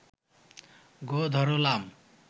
গোঁ ধরলাম